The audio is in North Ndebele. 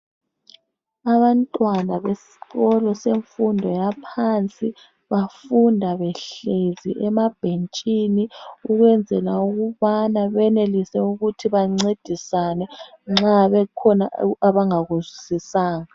Abantwana besikolo semfundo yaphansi bafunda behlezi emabhentshini ukwenzela ukubana benelise ukuthi bancedisane nxa kukhona abangakuzwisisanga.